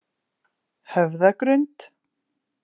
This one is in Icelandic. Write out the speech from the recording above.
Höfðagrund